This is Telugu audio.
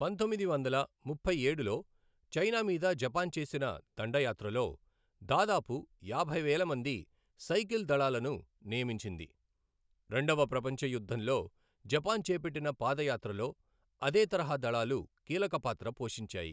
పంతొమ్మిది వందల ముప్పై ఏడులో చైనా మీద జపాన్ చేసిన దండయాత్రలో దాదాపు యాభై వేల మంది సైకిల్ దళాలను నియమించింది, రెండవ ప్రపంచ యుద్ధంలో జపాన్ చేపట్టిన పాదయాత్రలో అదే తరహా దళాలు కీలక పాత్ర పోషించాయి.